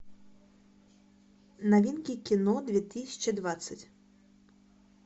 новинки кино две тысячи двадцать